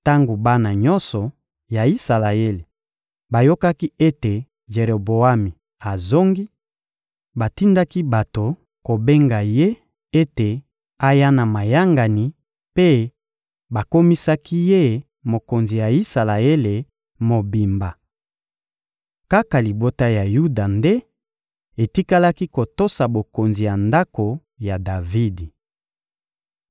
Tango bana nyonso ya Isalaele bayokaki ete Jeroboami azongi, batindaki bato kobenga ye ete aya na mayangani, mpe bakomisaki ye mokonzi ya Isalaele mobimba. Kaka libota ya Yuda nde etikalaki kotosa bokonzi ya ndako ya Davidi.